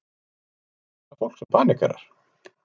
Er hægt að lækna fólk sem paníkerar?